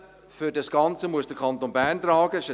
Die Kosten für das Ganze muss der Kanton Bern tragen.